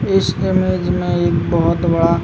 इस इमेज में एक बोहोत बड़ा --